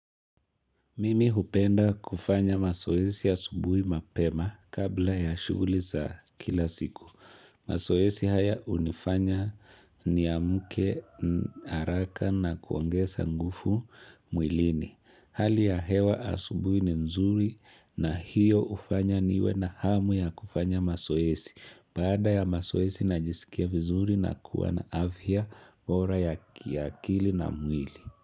Mimi hupenda kufanya masoesi ya subuhi mapema kabla ya shuguli za kila siku. Masoesi haya hunifanya niamuke haraka na kuongesa ngufu mwilini. Hali ya hewa asubuhi ni nzuri na hiyo ufanya niwe na hamu ya kufanya masoesi. Baada ya masoesi na jisikia vizuri na kuwa na afya bora ya kiakili na mwili.